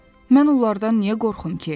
Mən onlardan niyə qorxum ki?